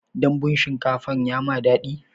Dambun shinkafan ya maka daɗi?